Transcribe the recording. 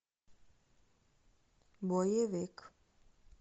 боевик